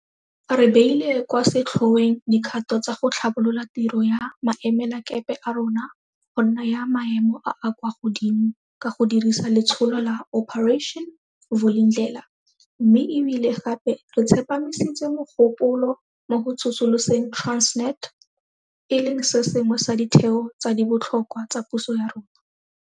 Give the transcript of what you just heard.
Re beile kwa setlhoeng dikgato tsa go tlhabolola tiro ya maemelakepe a rona go nna ya maemo a a kwa godimo ka go dirisa letsholo la Operation Vulindlela mme e bile gape re tsepamisitse mogopolo mo go tsosoloseng Transnet, e leng se sengwe sa ditheo tse di botlhokwa tsa puso ya rona.